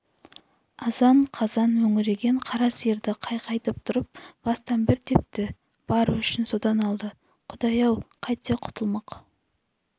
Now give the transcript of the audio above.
азан-қазан мөңіреген қара сиырды қайқайтып тұрып бастан бір тепті бар өшін содан алды құдай-ау қайтсе құтылмақ